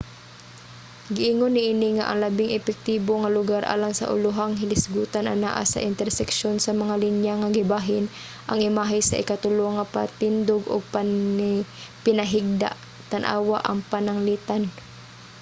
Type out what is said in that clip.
giingon niini nga ang labing epektibo nga lugar alang sa ulohang hilisgutan anaa sa interseksyon sa mga linya nga gibahin ang imahe sa ikatulo nga patindog ug pinahigda tan-awa ang pananglitan